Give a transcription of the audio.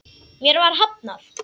Mér var hafnað.